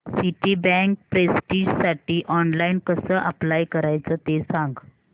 Citibank प्रेस्टिजसाठी online कसं apply करायचं ते सांग